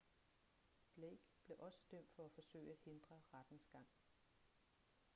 blake blev også dømt for at forsøge at hindre rettens gang